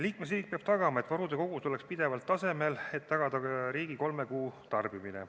Liikmesriik peab tagama, et varude kogud oleks pidevalt tasemel, et tagada riigi kolme kuu tarbimine.